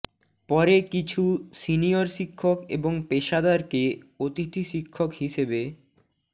পরে কিছু সিনিয়র শিক্ষক এবং পেশাদারকে অতিথি শিক্ষক হিসেবে